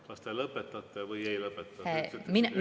Kas te lõpetate või ei lõpeta?